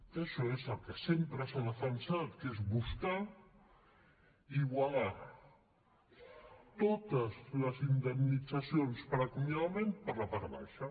que això és el que sempre s’ha defensat que és buscar i igualar totes les indemnitzacions per acomiadament per la part baixa